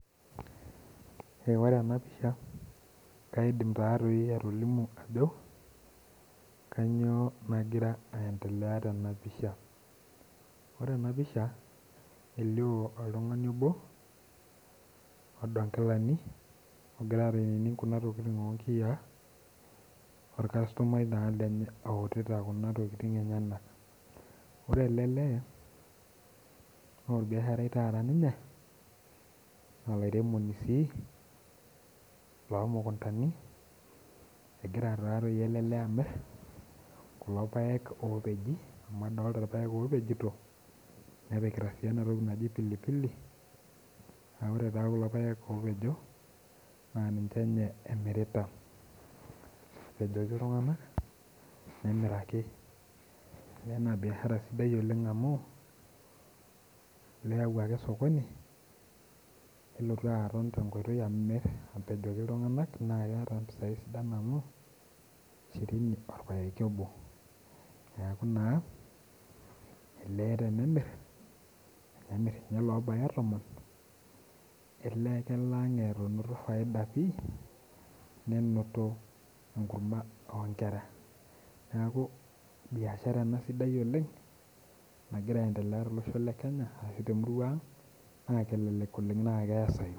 Ore enapisha, kaidim tatoi atolimu ajo, kanyioo nagira aendelea tenapisha. Ore enapisha, elio oltung'ani obo, odo nkilani ogira ainining kuna tokiting onkiyiaa, orkastomai naa lenye outita kuna tokiting enyanak. Ore ele lee, norbiasharai taata ninye, olairemoni sii lomukuntani, egira tatoi ele lee amir kulo paek opeji amu adolta irpaek opejito, nepikita si enatoki naji pilipili, ah ore taa kulo paek opejo, naa ninche nye emirita. Apejoki iltung'anak, nemiraki. Na biashara sidai oleng amu, keyau ake osokoni, nelotu aton tenkoitoi amir apejoki iltung'anak na keeta mpisai sidan amu, shirini orpaeki obo. Neeku naa, elee tenemir, enemir inye lobaya tomon, elee kelo ang enoto faida pi, nenoto enkurma onkera. Neeku, biashara ena sidai oleng, nagira aendelea tolosho le Kenya ashu temurua ang, naa kelelek oleng na keesayu.